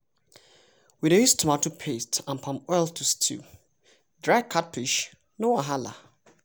we dey use tomato paste and palm oil to stew dry catfish no wahala!